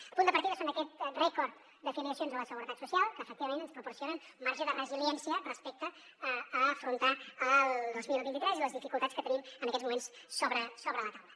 el punt de partida és aquest rècord de filiacions a la seguretat social que efectivament ens proporcionen un marge de resiliència respecte a afrontar el dos mil vint tres i les dificultats que tenim en aquests moments sobre la taula